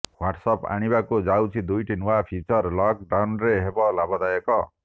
Whats app ଆଣିବାକୁ ଯାଉଛି ଦୁଇଟି ନୂଆ ଫିଚର ଲକ୍ ଡାଉନ୍ରେ ହେବ ଲାଭଦାୟକ